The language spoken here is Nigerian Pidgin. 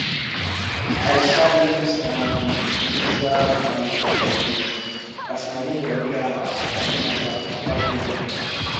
i um use um neutral um perfume as my neighbour enter house like say na their papa build am